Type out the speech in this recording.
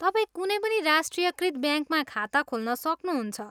तपाईँ कुनै पनि राष्ट्रियकृत ब्याङ्कमा खाता खोल्न सक्नुहुन्छ।